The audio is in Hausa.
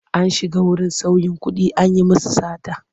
An shiga wurin sauyin kuɗi an yi musu sata.